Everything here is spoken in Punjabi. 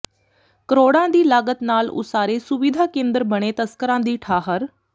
ਕਰੋੜਾਂ ਦੀ ਲਾਗਤ ਨਾਲ ਉਸਾਰੇ ਸੁਵਿਧਾ ਕੇਂਦਰ ਬਣੇ ਤਸਕਰਾਂ ਦੀ ਠਾਹਰ